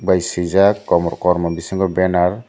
tei swaijak kormo kormo bisingo benner.